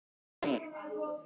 Villa